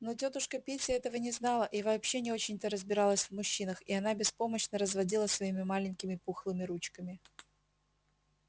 но тётушка питти этого не знала и вообще не очень-то разбиралась в мужчинах и она беспомощно разводила своими маленькими пухлыми ручками